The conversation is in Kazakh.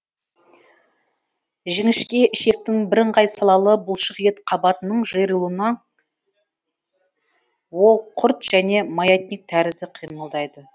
жіңішке ішектің бірыңғай салалы бұлшық ет қабатының жиырылуынан ол құрт және маятник тәрізді қимылдайды